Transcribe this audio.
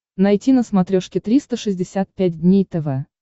найти на смотрешке триста шестьдесят пять дней тв